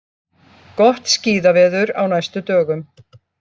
Gott skíðaveður á næstu dögum